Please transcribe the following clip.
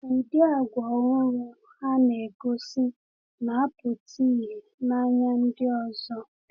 Ụdị àgwà ọhụrụ ha na-egosi na-apụta ìhè n’anya ndị ọzọ.